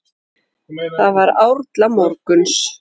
Það var árla morguns.